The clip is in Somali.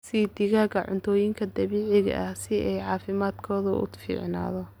Sii digaagga cuntooyinka dabiiciga ah si ay caafimaadkoodu u fiicnaado.